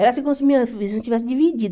Era assim como se minha visão estivesse dividida.